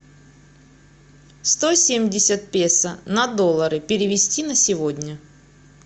сто семьдесят песо на доллары перевести на сегодня